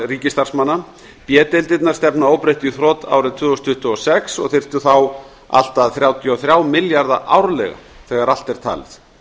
ríkisstarfsmanna b deildirnar stefna að óbreyttu í þrot árið tvö þúsund tuttugu og sex og þyrftu þá allt að þrjátíu og þrjá milljarða árlega þegar allt er talið